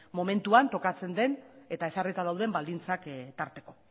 momentuan tokatzen den eta ezarrita dauden baldintzak tarteko